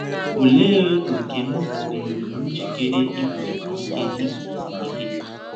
‘ Ọlee ọ́kè m dịrụrụ njikere igụzọsi ike igụzọsi ike? ’